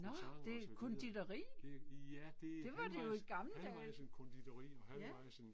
Nåh det konditori? Det var det jo i gamle dage. Ja